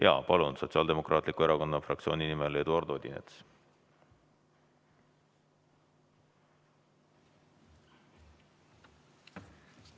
Jaa, palun, Sotsiaaldemokraatliku Erakonna fraktsiooni nimel Eduard Odinets!